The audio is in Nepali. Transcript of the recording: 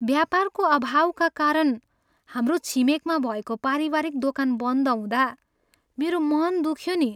व्यापारको अभावका कारण हाम्रो छिमेकमा भएको पारिवारिक दोकान बन्द हुँदा मेरो मन दुख्यो नि।